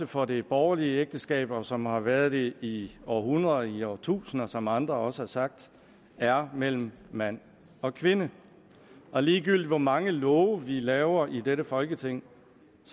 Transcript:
for det borgerlige ægteskab og som har været det i århundreder i årtusinder som andre også har sagt er mellem mand og kvinde og ligegyldigt hvor mange love vi laver i dette folketing